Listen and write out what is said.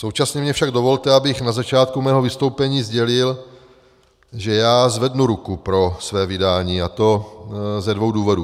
Současně mně však dovolte, abych na začátku svého vystoupení sdělil, že já zvednu ruku pro své vydání, a to ze dvou důvodů.